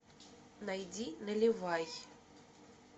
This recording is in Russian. найди наливай